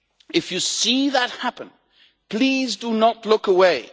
If you see that happen, please do not look away.